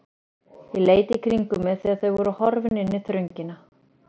Ég leit í kringum mig þegar þau voru horfin inn í þröngina.